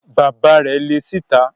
Bàbá rẹ̀ le síta.